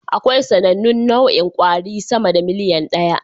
Akwai sanannun nau'in kwari sama da miliyan ɗaya